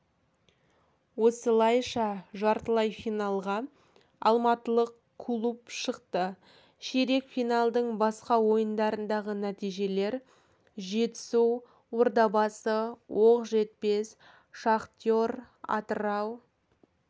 осылайша жартылай финалға алматылық клуб шықты ширек финалдың басқа ойындарындағы нәтижелер жетысу ордабасы оқжетпес шахтер атырау